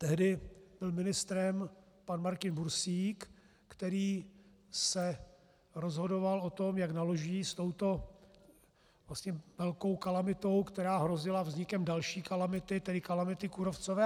Tehdy byl ministrem pan Martin Bursík, který se rozhodoval o tom, jak naloží s touto vlastně velkou kalamitou, která hrozila vznikem další kalamity, tedy kalamity kůrovcové.